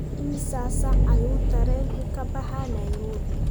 imisa saac ayuu tareenku ka baxaa nairobi?